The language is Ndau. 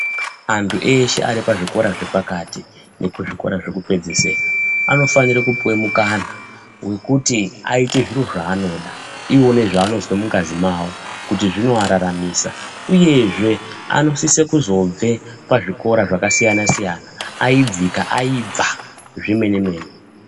Anthu eshe aripazvikora zvepakati nekuzvikora zvekupedzisira anofanira kupuwe mukana wekuti aite zviro zvaanoda wona zvaanozwa mungazi mawo kuti zvinoararamisa uyezve anosise kuzobve pazvikora zvakasiyana siyana aibvika aibva zvemene-mene.